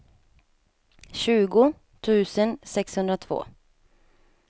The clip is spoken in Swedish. tjugo tusen sexhundratvå